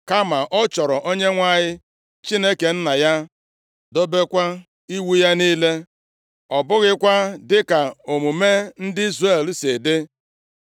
kama ọ chọrọ Onyenwe anyị, Chineke nna ya, dobekwa iwu ya niile, ọ bụghịkwa dịka omume ndị Izrel si dị.